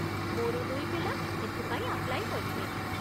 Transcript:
ମୋର ଦୁଇ ପିଲା ଏଥିପାଇଁ ଆପ୍ଲାଇ କରିବେ ।